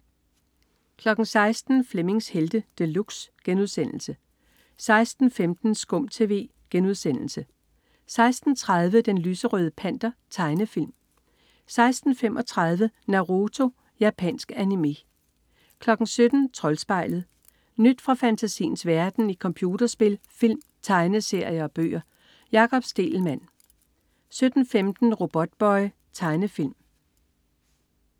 16.00 Flemmings Helte De Luxe* 16.15 SKUM TV* 16.30 Den lyserøde Panter. Tegnefilm 16.35 Naruto. Japansk animé 17.00 Troldspejlet. Nyt fra fantasiens verden i computerspil, film, tegneserier og bøger. Jakob Stegelmann 17.15 Robotboy. Tegnefilm